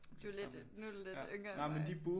Du lidt nu du lidt yngre end mig